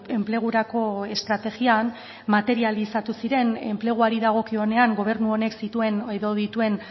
enplegurako estrategian materializatu ziren enpleguari dagokionean gobernu honek zituen edo dituen